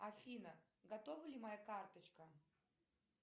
афина готова ли моя карточка